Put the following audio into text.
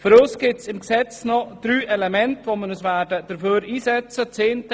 Für uns gibt es im Gesetz noch drei Elemente, für die wir uns einsetzen werden.